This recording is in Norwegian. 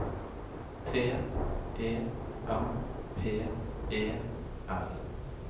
T E M P E L